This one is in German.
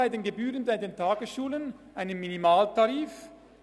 Es gibt bei den Gebühren für die Tagesschulen einen Minimaltarif.